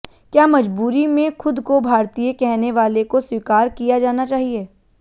क्या मजबूरी में खुद को भारतीय कहने वाले को स्वीकार किया जाना चाहिए